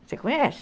Você conhece?